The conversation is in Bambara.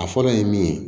A fɔlɔ ye min ye